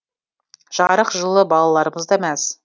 жарық жылы балаларымыз да мәз